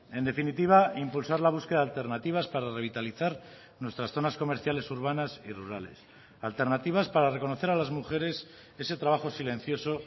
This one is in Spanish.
en definitiva impulsar la búsqueda de alternativas para revitalizar nuestras zonas comerciales urbanas y rurales alternativas para reconocer a las mujeres ese trabajo silencioso